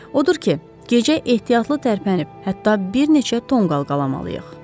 Odur ki, gecə ehtiyatlı tərpənib, hətta bir neçə tonqal qalamalıyıq.